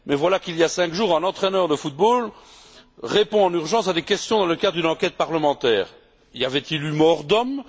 Mais voilà qu'il y a cinq jours, un entraîneur de football répond en urgence à des questions dans le cadre d'une enquête parlementaire. Y avait il eu mort d'homme?